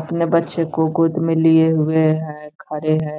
अपने बच्चो को गोद में लिए हुए है खड़े है।